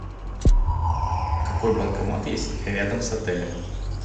какой банкомат есть рядом с отелем